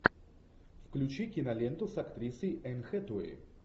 включи киноленту с актрисой энн хэтэуэй